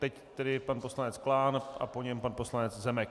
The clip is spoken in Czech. Teď tedy pan poslanec Klán a po něm pan poslanec Zemek.